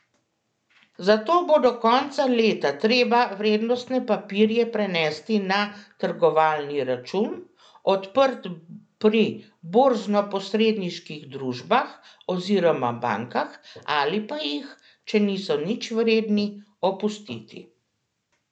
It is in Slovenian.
Zato bo do konca leta treba vrednostne papirje prenesti na trgovalni račun, odprt pri borznoposredniških družbah oziroma bankah, ali pa jih, če niso nič vredni, opustiti.